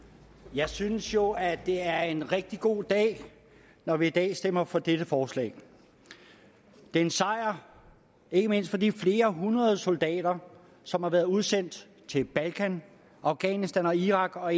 jeg synes jo at det er en rigtig god dag når vi i dag stemmer for dette forslag det er en sejr ikke mindst for de flere hundrede soldater som har været udsendt til balkan afghanistan og irak og